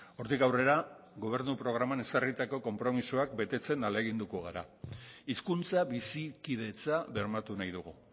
hortik aurrera gobernu programan ezarritako konpromisoak betetzen ahaleginduko gara hizkuntza bizikidetza bermatu nahi dugu